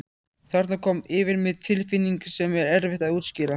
Þarna kom yfir mig tilfinning sem er erfitt að útskýra.